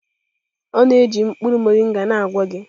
Ọ na-eji mkpụrụ moringa na-agwọ gị?